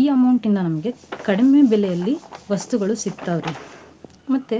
ಈ amount ಇಂದ ನಮ್ಗೆ ಕಡಿಮೆ ಬೆಲೆಯಲ್ಲಿ ವಸ್ತುಗಳು ಸಿಗ್ತಾವ್ ರಿ. ಮತ್ತೆ